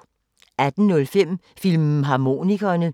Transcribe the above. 18:05: Filmharmonikerne